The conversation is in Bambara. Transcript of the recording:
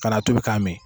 Ka n'a tobi ka mi